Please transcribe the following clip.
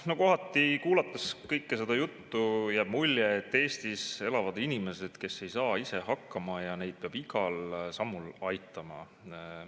No kohati, kuulates kõike seda juttu, jääb mulje, et Eestis elavad inimesed, kes ei saa ise hakkama ja keda peab igal sammul aitama.